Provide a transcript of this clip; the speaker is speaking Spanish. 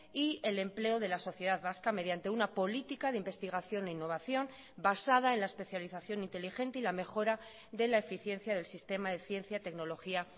y el empleo de la sociedad vasca mediante una política de investigación e innovación basada en la especialización inteligente y la mejora de la eficiencia del sistema de ciencia tecnología